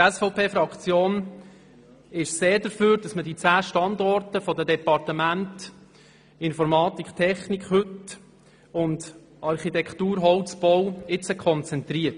Die SVP-Fraktion ist sehr dafür, dass man die heutigen zehn Standorte der Departemente Informatik, Technik, Architektur und Holzbau konzentriert.